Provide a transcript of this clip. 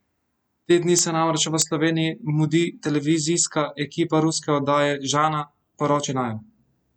Te dni se namreč v Sloveniji mudi televizijska ekipa ruske oddaje Žana, poroči naju!